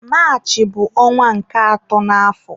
Maachị bụ ọnwa nke atọ n'àfọ̀